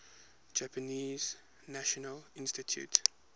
japanese national institute